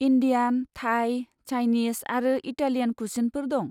Indian, Thai, Chinese आरो Italian कुसिनफोर दं।